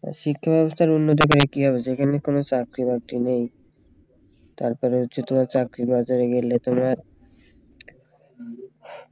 হ্যাঁ শিক্ষা ব্যবস্থার উন্নতি করে কি হবে যেখানে কোন চাকরি বাকরি নেই তারপরে হচ্ছে তোমার চাকরির বাজারে গেলে তোমার